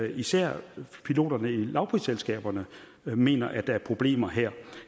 især piloterne i lavprisselskaberne mener at der er problemer her